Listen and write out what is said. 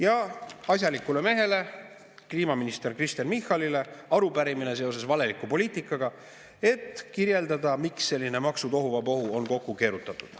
Ja asjalikule mehele, kliimaminister Kristen Michalile, on arupärimine seoses valeliku poliitikaga, et kirjeldada, miks selline maksutohuvabohu on kokku keerutatud.